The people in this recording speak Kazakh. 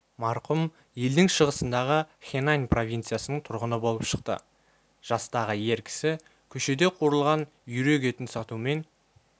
марқұм елдің шығысындағы хэнань провинциясының тұрғыны болып шықты жастағы ер кісі көшеде қуырылған үйрек етін сатумен